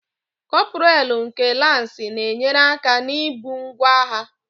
Kọpraalụ nke Lansị na-enyere aka na-ibu ngwaagha